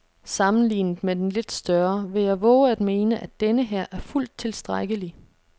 Sammenlignet med den lidt større vil jeg vove at mene, at denneher er fuldt tilstrækkelig.